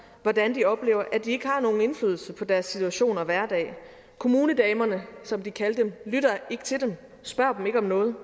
hvordan de oplever at de ikke har nogen indflydelse på deres situation og hverdag kommunedamerne som de kalder dem lytter ikke til dem og spørger dem ikke om noget